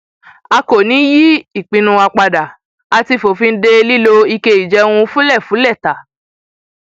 a kò ní í yí ìpinnu wa padà a ti fòfin de lílo ike ìjẹun fúlẹfúlẹ ta